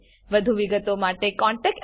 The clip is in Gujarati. વધુ વિગતો માટે contactspoken tutorialorg પર લખો